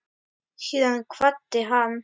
Síðan kvaddi hann